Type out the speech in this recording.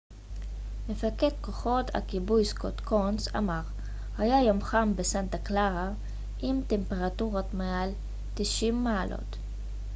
מפקד כוחות הכיבוי סקוט קונס אמר היה יום חם בסנטה קלרה עם טמפרטורות מעל 90 מעלות